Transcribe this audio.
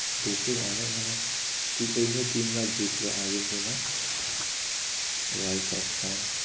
মানে ঠিক এই নিয়ে তিনবার জিতলো আর্জেন্টিনা world cup হ্যাঁ